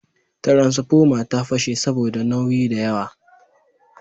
Tiransfomar ta fashe saboda nauyi da yawa